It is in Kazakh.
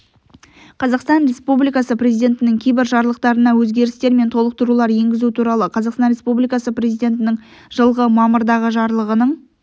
қазақстан республикасы президентінің кейбір жарлықтарына өзгерістер мен толықтырулар енгізу туралы қазақстан республикасы президентінің жылғы мамырдағы жарлығының